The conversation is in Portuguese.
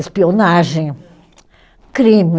Espionagem, crime.